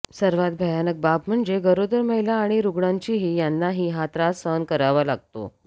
सर्वात भयानक बाब म्हणजे गरोदर महिला आणि रुग्णांचीही यांनाही हा त्रास सहन करावा लागतो